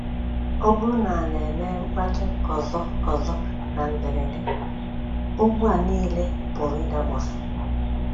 Ọ bụrụ na ala emee mkpàtụ ọzọ ọzọ na mberede, ugwu a nile pụrụ ị́dakpọsị́. ”